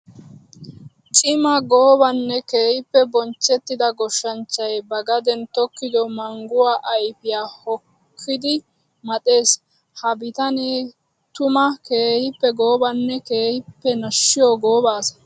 Cimaa goobanne keehippe bonchchettida goshanchchay ba gaden tokkido mangguwa ayfiya hokkoddi maxxees. Ha bitane tuma keehippe goobanne keehippe nashiyo gooba asaa.